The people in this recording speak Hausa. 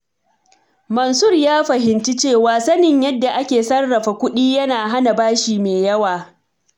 Mansur ya fahimci cewa sanin yadda ake sarrafa kuɗi yana hana bashi mai yawa.